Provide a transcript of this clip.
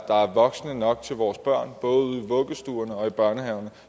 voksne nok til vores børn både ude i vuggestuerne og i børnehaverne